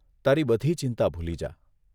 તારી બધી ચિંતા ભૂલી જા.